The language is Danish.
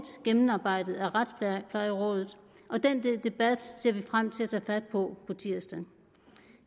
gennemarbejdet af retsplejerådet og den debat ser vi frem til at tage fat på på tirsdag